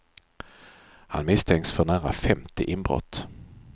Han misstänks för nära femtio inbrott.